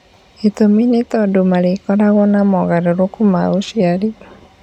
Gĩtũmi nĩ tondũ marĩkoragwo na mogarũrũku ma ũciari.